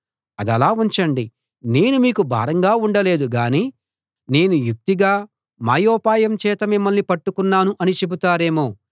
అదలా ఉంచండి నేను మీకు భారంగా ఉండలేదు గానీ నేను యుక్తిగా మాయోపాయం చేత మిమ్మల్ని పట్టుకున్నాను అని చెబుతారేమో